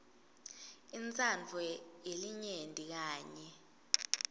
intsandvo yelinyenti kanye